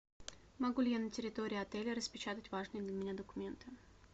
могу ли я на территории отеля распечатать важные для меня документы